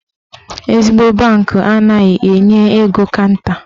Ezigbo bankị anaghị enye ego kanta.